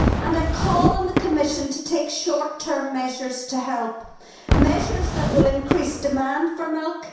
I call on the Commission to take short term measures to help measures that will increase demand for milk